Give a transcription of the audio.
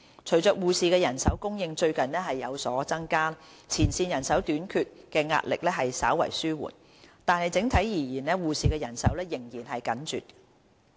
隨着護士人手供應最近有所增加，前線人手短缺的壓力稍為紓緩，但整體而言，護士的人手仍然緊絀。